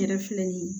N yɛrɛ filɛ nin ye